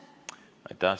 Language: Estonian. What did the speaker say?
Aitäh!